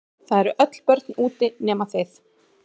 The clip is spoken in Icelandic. Það eru öll börn úti nema þið.